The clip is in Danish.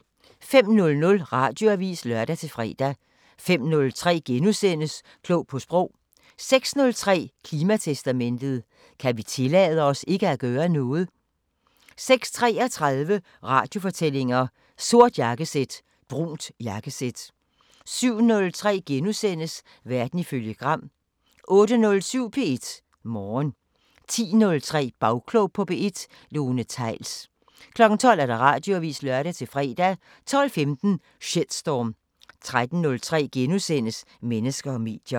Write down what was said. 05:00: Radioavisen (lør-fre) 05:03: Klog på Sprog * 06:03: Klimatestamentet: Kan vi tillade os ikke at gøre noget? 06:33: Radiofortællinger: Sort jakkesæt – brunt jakkesæt 07:03: Verden ifølge Gram * 08:07: P1 Morgen 10:03: Bagklog på P1: Lone Theils 12:00: Radioavisen (lør-fre) 12:15: Shitstorm 13:03: Mennesker og medier *